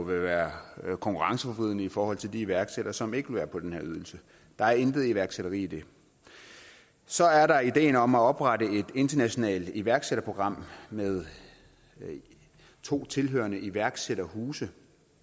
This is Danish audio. være konkurrenceforvridende i forhold til de iværksættere som ikke vil være på den her ydelse der er intet iværksætteri i det så er der ideen om at oprette et internationalt iværksætterprogram med to tilhørende iværksætterhuse